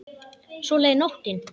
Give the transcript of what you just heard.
Svo leið nóttin.